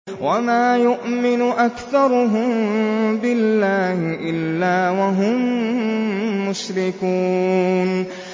وَمَا يُؤْمِنُ أَكْثَرُهُم بِاللَّهِ إِلَّا وَهُم مُّشْرِكُونَ